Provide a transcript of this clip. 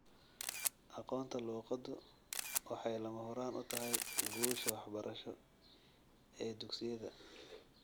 Aqoonta luqaddu waxay lama huraan u tahay guusha waxbarasho ee dugsiyada.